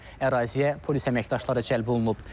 Əraziyə polis əməkdaşları cəlb olunub.